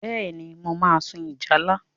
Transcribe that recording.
Bẹ́ẹ̀ni, mo máa sun ìjálá.